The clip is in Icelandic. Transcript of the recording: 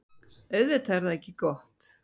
Auðvitað er það ekki gott.